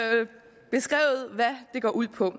går ud på